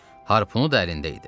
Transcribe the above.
Harpunu da əlində idi.